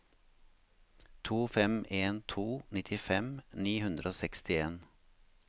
to fem en to nittifem ni hundre og sekstien